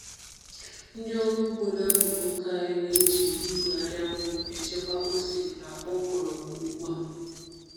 Ndị ọrụ ugbo n’akuku nke anyị na-eji igwe anyanwụ echekwa ose na okra ugbu a.